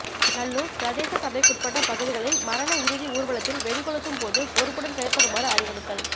நல்லூர் பிரதேச சபைகுட்பட்ட பகுதிகளில் மரண இறுதி ஊர்வலத்தில் வெடி கொளுத்தும் போது பொறுப்புடன் செயற்படுமாறு அறிவுறுத்தல்